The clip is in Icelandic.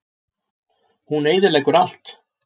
Hún eyðileggur allt.